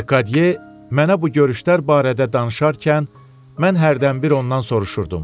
Lekadiye mənə bu görüşlər barədə danışarkən, mən hərdən bir ondan soruşurdum.